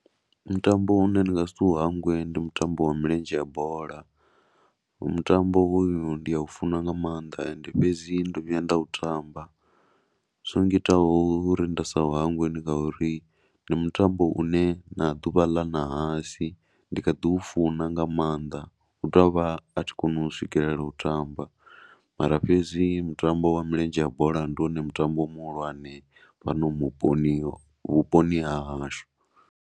Mutambo u ne ndi nga si u hangwe ndi mutambo wa milenzhe wa bola, mutambo hoyu ndi a u funa nga maanḓ ende fhedzi ndo vhuya nda u tamba. Zwo ngitaho uri nda sa u hangwe ndi nga uri ndi mutambo u ne na ḓuvha ḽa ṋahasi ndi kha ḓi u funa nga maanḓa hu tou vha a thi koni u swikelela u u tamba. Mara fhedzi mutambo wa milenzhe ya bola ndi wone mutambo muhulwane fhano muponi, vhponi ha hashu.